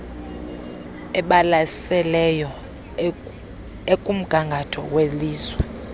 ebalaseleyo ekumgangatho welizwe